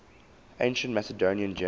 ancient macedonian generals